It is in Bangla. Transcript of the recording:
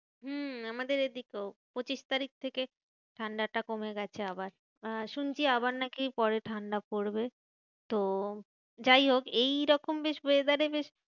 হম আমাদের এদিকেও পঁচিশ তারিখ থেকে ঠান্ডাটা কমে গেছে আবার। আহ শুনছি আবার নাকি পরে ঠান্ডা পড়বে। তো যাই হোক এইরকম বেশ weather এ বেশ